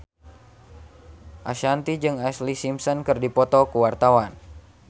Ashanti jeung Ashlee Simpson keur dipoto ku wartawan